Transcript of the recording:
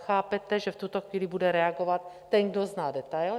Chápete, že v tuto chvíli bude reagovat ten, kdo zná detail.